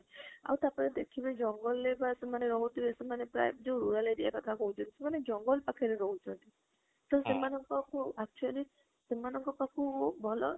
ଆଉ ଟାପରେ ଦେଖିବେ ଜଙ୍ଗଲରେ ବା ସେମାନେ ରାହୁଥିବେ ସେମାନେ ପ୍ରାଯ ଯୋଉ rural area କଥା କହୁଛନ୍ତି ସେମାନେ ସେମାନେ ଜଙ୍ଗଲ ପାଖରେ ରହୁଛନ୍ତି ତ ସେମାନଙ୍କ ପାଖରେ actually, ସେମାନଙ୍କ ପାଖକୁ ଭଲ